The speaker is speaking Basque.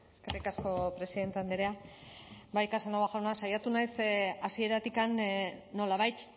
eskerrik asko presidente andrea bai casanova jauna saiatu naiz hasieratik nolabait